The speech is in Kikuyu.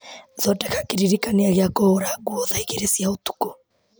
thondeka kĩririkania gĩa kũhũra nguo thaa igĩrĩ cia ũtukũ